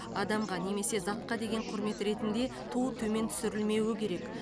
адамға немесе затқа деген құрмет ретінде ту төмен түсірілмеуі керек